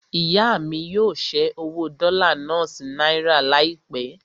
Ìyá mí yóò ṣẹ́ owó dọ́là náà sí náírà láìpẹ́.